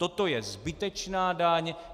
Toto je zbytečná daň.